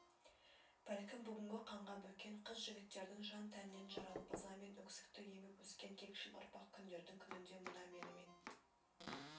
бәлкім бүгінгі қанға бөккен қыз-жігіттердің жан-тәнінен жаралып ыза мен өксікті еміп өскен кекшіл ұрпақ күндердің күнінде мына менімен